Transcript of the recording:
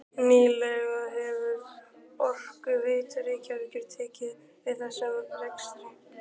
Nýlega hefur Orkuveita Reykjavíkur tekið við þessum rekstri.